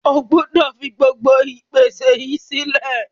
O gbúdọ̀ fi gbogbo ìpèsè yìí sílẹ̀.